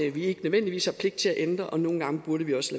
at vi ikke nødvendigvis har pligt til at ændre og nogle gange burde vi også